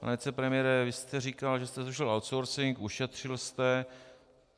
Pane vicepremiére, vy jste říkal, že jste zrušil outsourcing, ušetřil jste.